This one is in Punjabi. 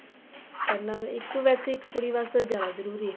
ਪੜਨਾ ਇੱਕ ਵੇਸੇ ਇੱਕ ਕੁੜੀ ਵਾਸਤੇ ਜਿਆਦਾ ਜਰੂਰੀ ਏ